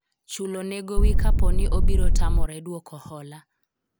chulo ne gowi kaponi obiro tamore dwoko hola